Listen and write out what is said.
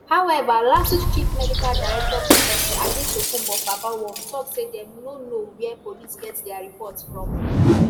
however lasuth chief medical director professor adetokunbo fabamwo tok say dem no know wia police get dia report from